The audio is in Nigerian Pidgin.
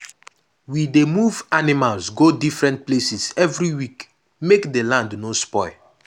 we dey move animals go different places every week make the land no spoil.